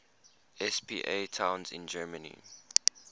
spa towns in germany